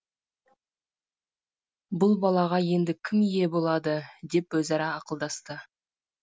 бұл балаға енді кім ие болады деп өзара ақылдасты